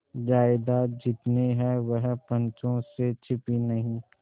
जायदाद जितनी है वह पंचों से छिपी नहीं